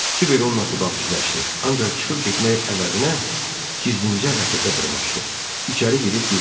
Kiber onunla xudahafizləşdi, ancaq çıxıb getmək əvəzinə gizlincə raketə dırmaşdı, içəri girib gizləndi.